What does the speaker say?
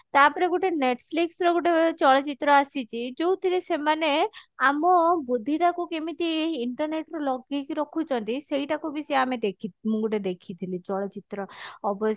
ତାପରେ ଗୁଟେ netflix ର ଗୁଟେ ଚଳଚିତ୍ର ଆସିଛି ଯଉଥିରେ ସେମାନେ ଆମ ବୁଦ୍ଧି ଟା କୁ କେମିତି internet ରେ ଲଗେଇକି ରଖୁଛନ୍ତି ସେଇଟା କୁ ସିଏ ଆମେ ଦେଖି ମୁଁ ଗୋଟେ ଦେଖିଥିଲି ଚଳଚିତ୍ର ଅବଶ୍ୟ